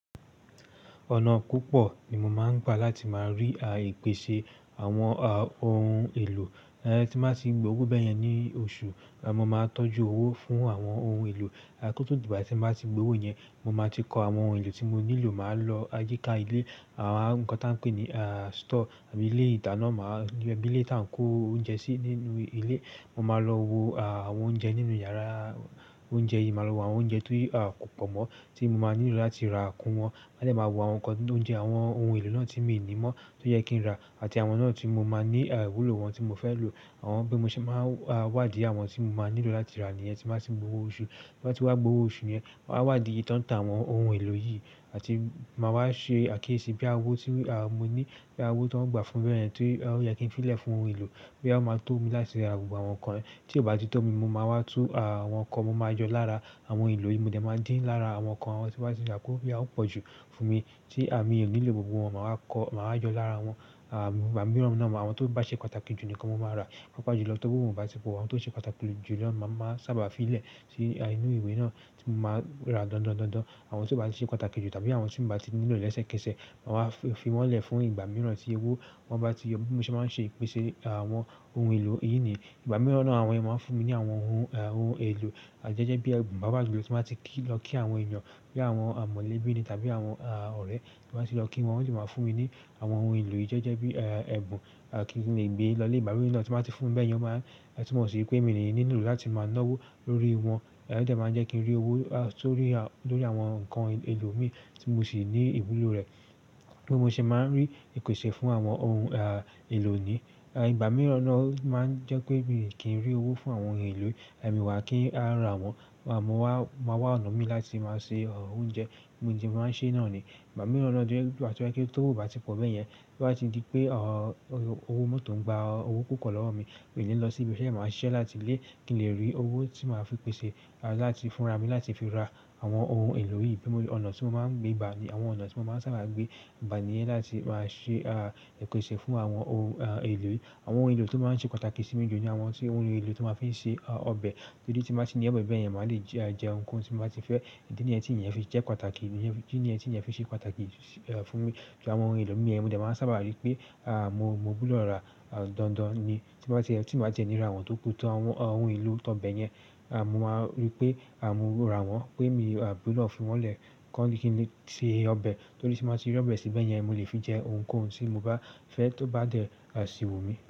Ọ̀nà púpọ̀ ni mo máa ń gba láti máa rí àìpèsè àwọn ohun èlò. Tí máa sì gbowó bẹ́ẹ̀ yẹn ní oṣù, mo máa tọ́jú owó fún àwọn ohun èlò. Kótó dìbà tí mo bá ti gbowó yẹn, mo máa ti kọ àwọn ohun èlò tí mo nílò. Máa lọ ajíka ilé, àwọn nǹkan tí wọ́n ń pè ní store í ilé ìdáná, máa gbé bílé tí à ń kó oúnjẹ sí nínú ilé. Mo máa lọ wo àwọn oúnjẹ nínú yàrá oúnjẹ yìí, màá lo àwọn oúnjẹ ti ko pọ̀ mọ́ tí mo máa nílò láti ra kún wọn. Ẹ́ẹ̀ máa wo àwọn nǹkan oúnjẹ, àwọn ohun èlò náà tí mi ò ní mọ́ tó yẹ kí n rà àti àwọn náà tí mo máa ní ìwúlò wọn tí mo fẹ́ lò. Àwọn bí mo ṣe máa wádìí àwọn tí mo máa nílò láti rà níyẹn tí màá ti gbowó oṣù. Bí màá ti wá gbowó oṣù yẹn, màá wádìí iye ìtọntàn àwọn ohun èlò yìí àti màá wá ṣe àkíyèsí bí awọ̀ tí mo ní, bí àwọ̀ tí wọ́n gbà fún bẹ́ẹ̀ tọ́ tí ó yẹ kí n fi lè fún ohun èlò, bí àwọn máa tó mi láti ra àwọn nǹkan rẹ̀. Tí ó bá ti tó mi, mo máa wá tú àwọn nǹkan, mo máa yọ lára àwọn ohun èlò yìí, mo dẹ̀ máa dín lára àwọn nǹkan àwọn tí wá ti yà kúrò, boyaw ọn pọ̀ jù fún mi tí àmi ò nílò gbogbo wọn. Màá kọ́, màá jọ lára wọn. Ìgbà mìíràn náà àwọn tó bá ṣe pàtàkì jù nìkan mo máa rà. Papa jù lọ tó bí mo bá ti pò àwọn tó ṣe pàtàkì jù lọ ma, màá sábà fi lè sí inú ìwé náà tí mo máa rà dandan dandan. Àwọn tí ó bá ṣe pàtàkì jù tàbí àwọn tí mo bá ti nílò lẹ́sẹ̀kẹsẹ̀, màá fi wọ́n lè fún ìgbà mìíràn tí owó won bá ti yọ. Bí mo ṣe máa ń ṣe ìpèsè àwọn ohun èlò yìí nìyí. Ìgbà mìíràn náà àwọn èèyàn máa ń fún mi ní àwọn ohun, ohun èlò. Gege bí bàbá àgbà tí máa ti kí lọ kí àwọn èèyàn, bí àwọn amọ̀lẹ́bí ni tàbí àwọn ọ̀rẹ́ tí máa ti lọ kí wọn, wọ́n sì máa fún mi ní àwọn ohun èlò. Gege bí ẹ̀bùn kí n lè gbé lọ ilé. Ìgbà mìíràn náà tí màá ti fún be yen máa, tí wọn ṣe pé mi nìyí nílò láti máa ná owó lórí wọn. Ẹ̀ dẹ̀ máa jẹ́ kí n rí owó tó rí, lórí àwọn nǹkan èlò mi tí mo sì ní ìwúlò rẹ̀. Bí mo ṣe máa ń rí ìpèsè fún àwọn ohun èlò ni. Ìgbà mìíràn náà máa ń jẹ́ pé mí kí n rí owó fún àwọn ohun èlò, emì wa kí a rà wọ́n. Mo máa wá ọ̀nà mi láti máa ṣe oúnjẹ bí mo ṣe máa ń ṣe náà ni. Ìgbà mìíràn náà bí owo tó ò bá ti pọ̀ bẹ́ẹ̀ yẹn, tí wọ́n bá ti di pé owó mọ́tò ń gba owó púpọ̀ lọ́wọ́ mi, mi ò ní lọ sí ibi. Ṣé màá ṣẹ́ láti lé kí n lè rí owó tí màá fi pèsè láti fúnra mi láti fi ra àwọn ohun èlò yìí. Bí mo rí ọ̀nà tí mo máa ń gbé, àbí àwọn ọ̀nà tí mo máa ń sábà gbé, ìbá ni yẹn láti máa ṣe ìpèsè fún àwọn ohun èlò. Àwọn ohun èlò tó máa ń ṣe pàtàkì sí mi jù ní àwọn ti ohun èlò tí màá fi ṣe ọbẹ̀. Torí tí màá ti ní obe bẹ́ẹ̀ yẹn, màá le jẹ nǹkan tí mba ti fẹ́. Idi ni ẹ́ ti ìyẹn fi jẹ́ pàtàkì, kí ni ẹ́ ti ìyẹn fi ṣe pàtàkì fún mi. Tí àwọn ohun èlò mi ẹ, mo dẹ̀ máa sábà rí pé mo, mogbodo rà dandan ni. Tí màá ṣe, tí màá jẹ níra wọn tóku tó àwọn ohun èlò to beyẹn, màá rí pé à mì rà wọ́n pé mi ò nílò fi wọ́n lè kọ́ nkíni se ọbẹ̀. Torí tí màá ti rí ọbẹ̀ síbẹ̀